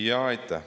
Jaa, aitäh!